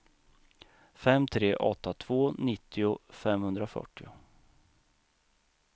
fem tre åtta två nittio femhundrafyrtio